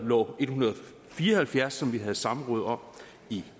nummer en hundrede og fire og halvfjerds som vi havde samråd om i